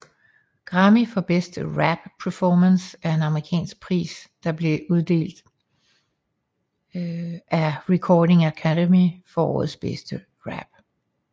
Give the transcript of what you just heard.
Grammy for Best Rap Performance er en amerikansk pris der blev uddelt af Recording Academy for årets bedste rap